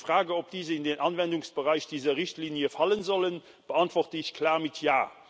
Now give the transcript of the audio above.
Die Frage, ob diese in den Anwendungsbereich dieser Richtlinie fallen sollen, beantworte ich klar mit ja.